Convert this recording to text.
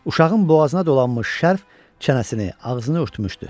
Uşağın boğazına dolanmış şərf çənəsini, ağzını örtmüşdü.